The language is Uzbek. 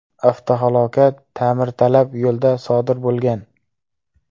Avtohalokat ta’mirtalab yo‘lda sodir bo‘lgan.